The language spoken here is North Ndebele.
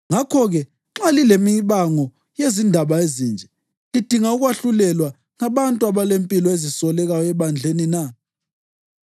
Ngakho-ke, nxa lilemibango yezindaba ezinje, lidinga ukwahlulelwa ngabantu abalempilo ezisolekayo ebandleni na?